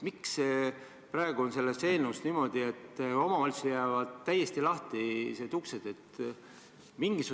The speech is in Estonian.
Miks praegu on selles eelnõus niimoodi, et omavalitsusele jäävad täiesti lahtised uksed?